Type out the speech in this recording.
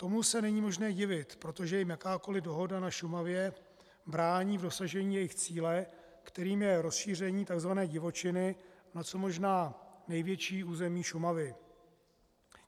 Tomu se není možné divit, protože jim jakákoli dohoda na Šumavě brání v dosažení jejich cíle, kterým je rozšíření tzv. divočiny na co možná největší území Šumavy.